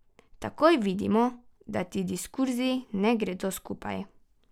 Takoj vidimo, da ti diskurzi ne gredo skupaj.